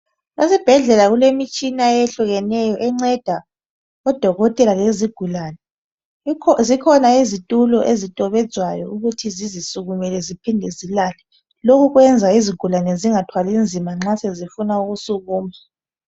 Esibhedlela kukhona imitshina eyehlukeneyo .Enceda odokotela lezigulane. Zikhona izitulo ezitobedzwayo ukuthi zizisukumele ziphinde zilale. Lokhu kwenza izigulane zingathwali zima nxa sezifuna ukusukuma.